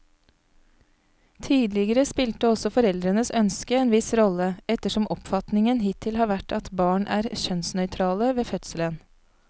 Tidligere spilte også foreldrenes ønske en viss rolle, ettersom oppfatningen hittil har vært at barn er kjønnsnøytrale ved fødselen.